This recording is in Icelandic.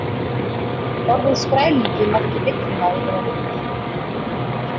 Orðið skrælingi merkir villimaður eða ruddi.